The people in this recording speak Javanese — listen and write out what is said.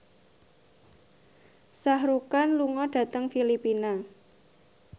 Shah Rukh Khan lunga dhateng Filipina